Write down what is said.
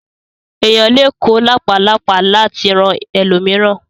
Èèyàn lè kó làpálàpá láti ra ẹlòmíràn.